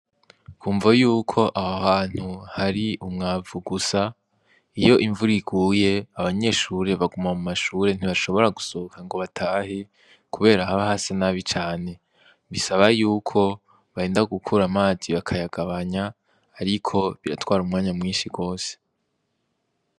Kumvo yuko aho hantu hari umwavu gusa iyo imvura iguye abanyeshuri baguma mu mashuri ntibashobora gusohoka ngo batahe kubera haba hasa nabi cane bisaba yuko barinda gukura amazi bakayagabanya ariko biratwara umwanya mwishi gose.